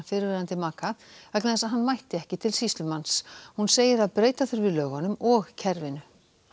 fyrrverandi maka vegna þess að hann mætti ekki til sýslumanns hún segir að breyta þurfi lögunum og kerfinu